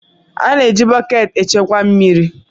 A na-eji bọket echekwa mmiri.